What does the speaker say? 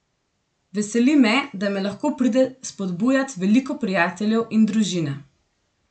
Veseli me, da me lahko pride spodbujat veliko prijateljev in družina.